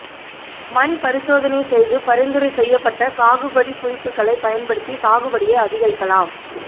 மண் பரிசோதனை செய்து பரிந்துரை செய்யப்பட்ட சாகுபடி குறிப்புகளை பயன்படுத்தி சாகுபடியை அதிகரிக்கலாம்